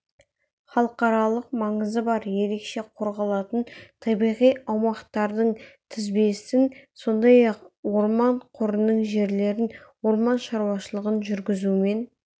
халықаралық маңызы бар ерекше қорғалатын табиғи аумақтардың тізбесін сондай-ақ орман қорының жерлерін орман шаруашылығын жүргізумен